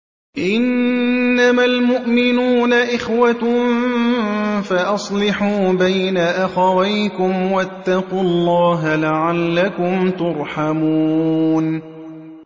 إِنَّمَا الْمُؤْمِنُونَ إِخْوَةٌ فَأَصْلِحُوا بَيْنَ أَخَوَيْكُمْ ۚ وَاتَّقُوا اللَّهَ لَعَلَّكُمْ تُرْحَمُونَ